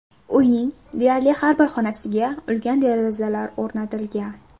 Uyning deyarli har bir xonasiga ulkan derazalar o‘rnatilgan.